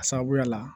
A sababuya la